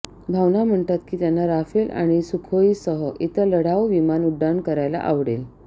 भावना म्हणतात की त्यांना राफेल आणि सुखोई सह इतर लढाऊ विमान उड्डाण करायला आवडेल